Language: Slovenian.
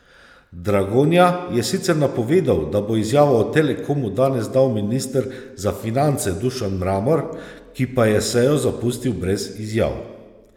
Dragonja je sicer napovedal, da bo izjavo o Telekomu danes dal minister za finance Dušan Mramor, ki pa je sejo zapustil brez izjav.